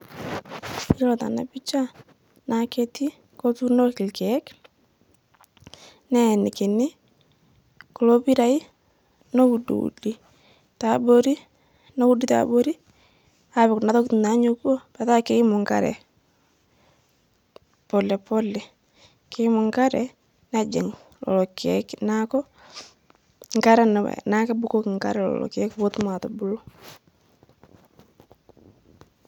Yiolo tana picha naa ketii kotuunoki lkeek, neeinikini kulo piirai, noudiudi teabori neudi teabori apik kuna tokini naanyukuo petaa keimu nkare, polepole keumu nkare nejing' lolo keek naaku nkare naak naaku kebukoki nkare lolo keek pootum aatubulu